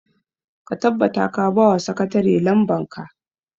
ka tabbata ka ba wa sakatare lamban ka!